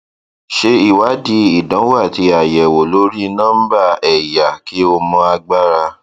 ṣe ìwádìí ìdánwò àti àyẹwò lórí nọmbà ẹyà kí o mọ agbára